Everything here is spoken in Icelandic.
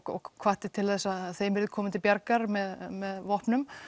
hvatti til þess að þeim yrði komið til bjargar með með vopnum